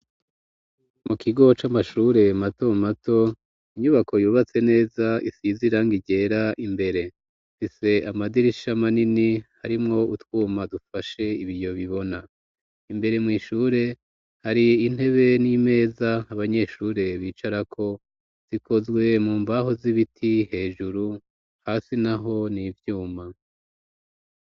Mu kigo c'amashure mato mato inyubako yubatse neza isize irangi ryera imbere ifise amadirisha manini harimwo utwuma dufashe ibiyo bibona imbere mw'ishure hari intebe n'imeza abanyeshure bicara ko zikozwe mu mbaho z'ibiti hejuru hasi naho n'ivyuma.